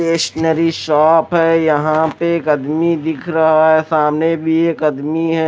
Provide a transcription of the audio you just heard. Stationery shop है यहां पे एक अदमी दिख रहा है सामने भी एक अदमी है।